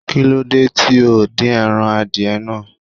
Kí ló dé tí o ò dín ẹran adìẹ náà?